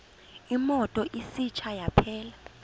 imoto isitsha yaphela